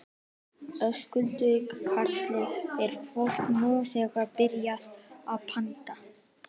Höskuldur Kári: Er fólk nú þegar byrjað að panta?